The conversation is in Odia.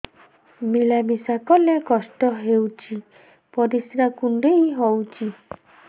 ମିଳା ମିଶା କଲେ କଷ୍ଟ ହେଉଚି ପରିସ୍ରା କୁଣ୍ଡେଇ ହଉଚି